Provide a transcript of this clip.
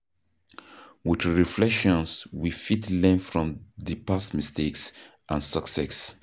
With reflection we fit learn from di past mistakes and success